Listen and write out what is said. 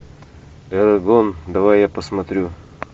эрагон давай я посмотрю